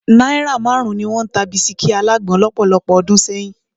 Náírà márùn-ún ni wọ́n ń ta bisikí alágbòn lọ́pọ̀lọpọ̀ ọdún sẹ́yìn